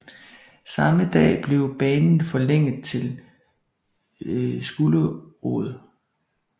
Samme dag blev banen forlænget til Skulerud